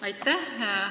Aitäh!